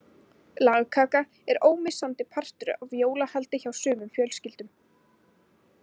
Lagkaka er ómissandi partur af jólahaldi hjá sumum fjölskyldum.